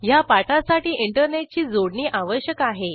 ह्या पाठासाठी इंटरनेटची जोडणी आवश्यक आहे